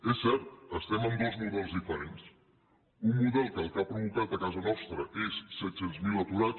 és cert estem en dos models diferents un model que el que ha provocat a casa nostra és set cents miler aturats